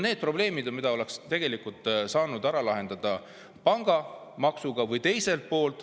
Need on probleemid, mida oleks saanud lahendada pangamaksuga.